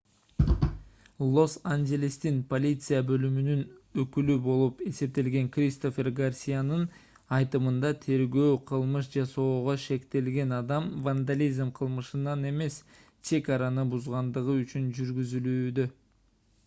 лос-анжелестин полиция бөлүмүнүн өкүлү болуп эсептелген кристофер гарсиянын айтымында тергөө кылмыш жасоого шектелген адам вандализм кылмышынан эмес чек араны бузгандыгы үчүн жүргүзүлүүдө